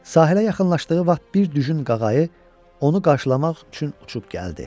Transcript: Sahilə yaxınlaşdığı vaxt bir düzün qağayı onu qarşılamaq üçün uçub gəldi.